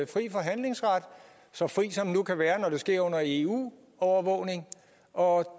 frie forhandlingsret så fri som den nu kan være når det sker under eu overvågning og